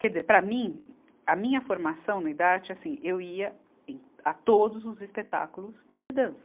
Quer dizer, para mim, a minha formação no Idarte, assim, eu ia a todos os espetáculos de dança.